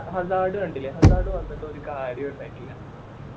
hazard കണ്ടില്ലേ Hazard വന്നിട്ട് ഒരു കാര്യോം ഇണ്ടായിട്ടില്ല